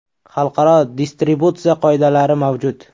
Xalqaro distributsiya qoidalari mavjud.